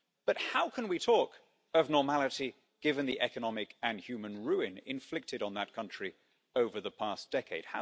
But how can we talk of normality, given the economic and human ruin inflicted on that country over the past decade?